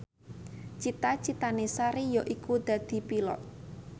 cita citane Sari yaiku dadi Pilot